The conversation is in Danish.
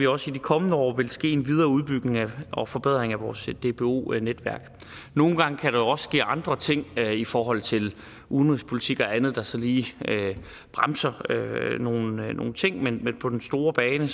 også i de kommende år vil ske en videre udbygning og forbedring af vores dbo netværk nogle gange kan der jo også ske andre ting i forhold til udenrigspolitik og andet der så lige bremser nogle nogle ting men på den store bane